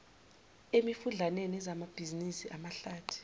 emifudlaneni ezamabhizinisi amahlathi